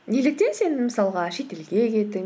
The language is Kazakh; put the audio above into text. неліктен сен мысалға шетелге кеттің